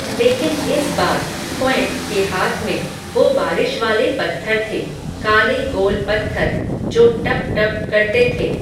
लेकिन इस बार, क्वैं के हाथ में, वो बारिश वाले पत्थर थे, काले गोल पत्थर, जो टप टप करते थे